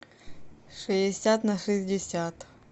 шестьдесят на шестьдесят